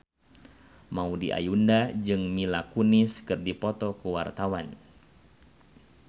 Maudy Ayunda jeung Mila Kunis keur dipoto ku wartawan